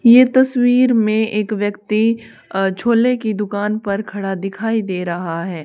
ये तस्वीर में एक व्यक्ति अह झोले की दुकान पर खड़ा दिखाई दे रहा है।